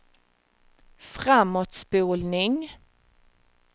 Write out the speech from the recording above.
framåtspolning